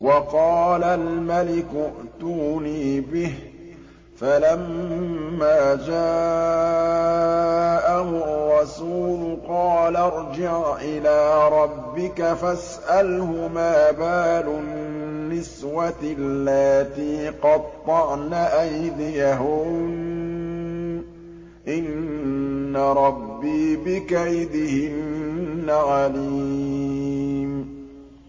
وَقَالَ الْمَلِكُ ائْتُونِي بِهِ ۖ فَلَمَّا جَاءَهُ الرَّسُولُ قَالَ ارْجِعْ إِلَىٰ رَبِّكَ فَاسْأَلْهُ مَا بَالُ النِّسْوَةِ اللَّاتِي قَطَّعْنَ أَيْدِيَهُنَّ ۚ إِنَّ رَبِّي بِكَيْدِهِنَّ عَلِيمٌ